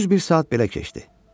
Düz bir saat belə keçdi.